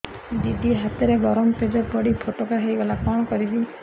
ଦିଦି ହାତରେ ଗରମ ପେଜ ପଡି ଫୋଟକା ହୋଇଗଲା କଣ କରିବି